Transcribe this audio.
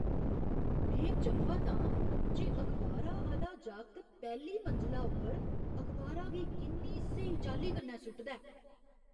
में चंभत आं जे अखबारा आह्‌ला जागत पैह्ली मंजला उप्पर अखबारा गी किन्नी स्हेई चाल्ली कन्नै सु'टदा ऐ ।